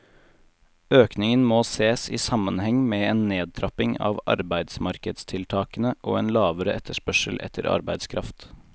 Økningen må ses i sammenheng med en nedtrapping av arbeidsmarkedstiltakene og en lavere etterspørsel etter arbeidskraft.